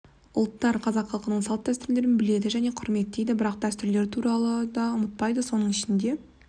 ұлттар қазақ халқының салт дәстүрлерін біледі және құрметтейді бірақ дәстүрлерін туралы да ұмытпайды соның ішінде